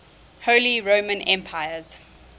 holy roman emperors